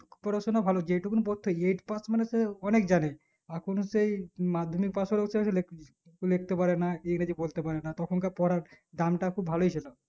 পড়াশোনা ভালো যেটুকু পড়তো eight pass মানে সে অনিক জানে আখুন সেই madhyamik pass লিখতে পারে না ইংরেজি বলতে পারে না তখন কার পড়া দামটা খুব ভালোই ছিল